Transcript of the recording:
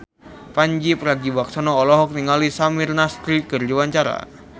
Pandji Pragiwaksono olohok ningali Samir Nasri keur diwawancara